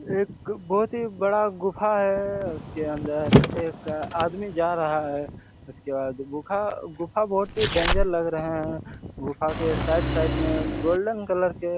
एक बहुत ही बड़ा गुफा हैं उसके अंदर एक आदमी जा रहा हैं उसके बाद गुफा-गुफा बहुत ही डेंजर लग रहा हैं गुफा के साइड साइड में गोल्डन कलर के--